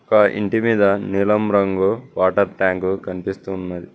గా ఇంటి మీద నీలం రంగు వాటర్ ట్యాంకు కనిపిస్తున్నది.